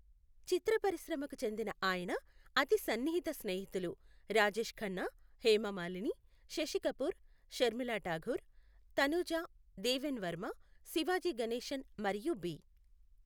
చిత్ర పరిశ్రమకు చెందిన ఆయన అతి సన్నిహిత స్నేహితులు రాజేష్ ఖన్నా, హేమమాలిని, శశి కపూర్, షర్మిలా ఠాగూర్, తనూజ, దేవేన్ వర్మ, శివాజీ గణేశన్ మరియు బి.